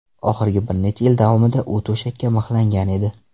Oxirgi bir necha yil davomida u to‘shakka mixlangan edi.